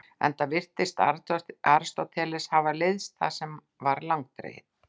Enda virðist Aristóteles hafa leiðst það sem var langdregið.